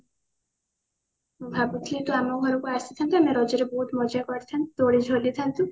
ଭାବୁଥିଲି ତୁ ଆମ ଘରକୁ ଆସିଥାନ୍ତୁ ଆମେ ରଜ ରେ ବହୁତ ମଜା କରିଥାନ୍ତେ ଦୋଳି ଝୁଲିଥାଆନ୍ତୁ